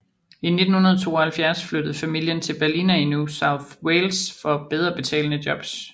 I 1972 flyttede familien til Ballina i New South Wales for bedre betalende jobs